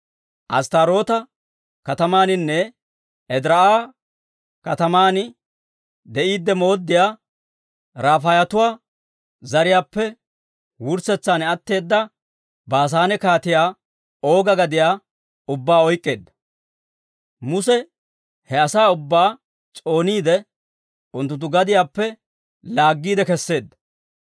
Asttaaroota katamaaninne Ediraa'a kataman de'iide mooddiyaa, Rafaayetuwaa zariyaappe wurssetsan atteeda Baasaane Kaatiyaa Ooga gadiyaa ubbaa oyk'k'eedda. Muse he asaa ubbaa s'ooniide, unttunttu gadiyaappe laaggiide keseedda.